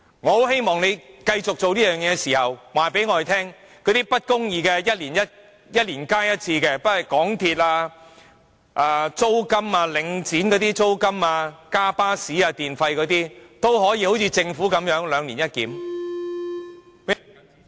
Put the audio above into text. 我很希望，政府繼續這樣做的同時，可以告訴我們那些一年加價一次的不公義制度，不論是港鐵、領展租金、巴士車費、電費等也好像政府處理最低工資般兩年一檢。